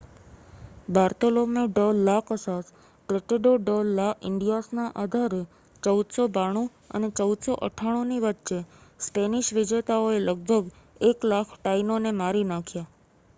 Bartolome de la Casas Tratado de la ઇન્ડિઆસના આધારે 1492 અને 1498ની વચ્ચે સ્પેનિશ વિજેતાઓએ લગભગ 1,00,000 ટાઇનોને મારી નાખ્યા